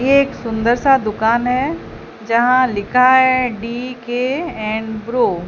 एक सुंदर सा दुकान है जहां लिखा डी_के एंब्रो